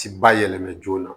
Ti ba yɛlɛmɛn joona